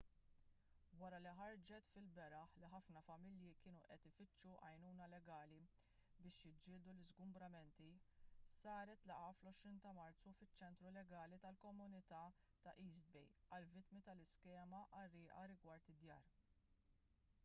wara li ħarġet fil-beraħ li ħafna familji kienu qed ifittxu għajnuna legali biex jiġġieldu l-iżgumbramenti saret laqgħa fl-20 ta' marzu fiċ-ċentru legali tal-komunità ta' east bay għall-vittmi tal-iskema qarrieqa rigward id-djar